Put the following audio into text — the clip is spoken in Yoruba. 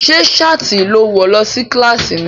Ṣé ṣáàtì ló wọ̀ wá kílàsì ni?